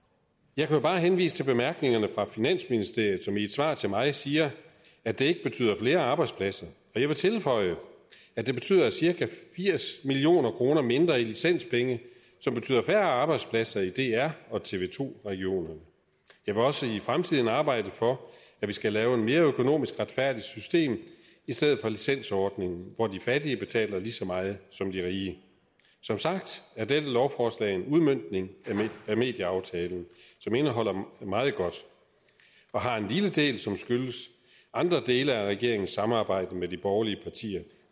jeg kan jo bare henvise til bemærkningerne fra finansministeriet som i et svar til mig siger at det ikke betyder flere arbejdspladser og jeg vil tilføje at det betyder cirka firs million kroner mindre i licenspenge som betyder færre arbejdspladser i dr og tv to regionerne jeg vil også i fremtiden arbejde for at vi skal lave et mere økonomisk retfærdigt system i stedet for licensordningen hvor de fattige betaler lige så meget som de rige som sagt er dette lovforslag en udmøntning af medieaftalen som indeholder meget godt og har en lille del som skyldes andre dele af regeringens samarbejde med de borgerlige partier